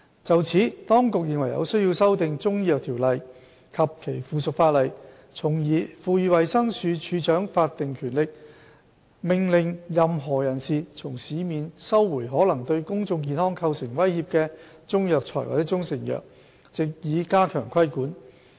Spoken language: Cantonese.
就此，當局認為有需要修訂《條例》及其附屬法例，從而賦予衞生署署長法定權力，命令任何人士從市面收回可能對公眾健康構成威脅的中藥材或中成藥，藉以加強規管。